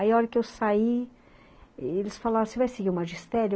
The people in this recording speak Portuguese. Aí, a hora que eu saí, eles falaram, você vai seguir o magistério?